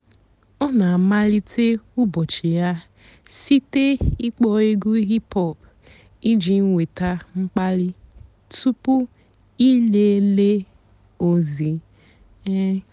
ọ́ nà-àmalíté ụ́bọ̀chị́ yà sìté ị́kpọ́ ègwú hìp-hòp ìjì nwétá m̀kpàlí túpú ị̀léélé ózì-è.